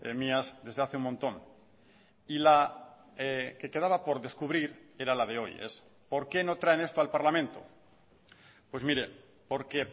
mías desde hace un montón y la que quedaba por descubrir era la de hoy es por qué no traen esto al parlamento pues mire porque